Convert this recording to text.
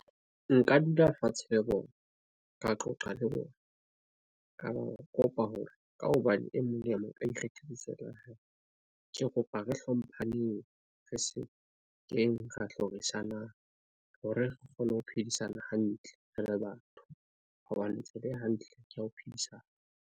Nka dula fatshe le bona. Ka qoqa le bona, ka ba kopa hore ka hobane e mong le e mong a ikgethe lebitso la hae. Ke kopa re hlomphaneng re se keng ra hlorisanang, hore re kgone ho phedisana hantle, re le batho hobane tsela e hantle ke ya ho phedisana.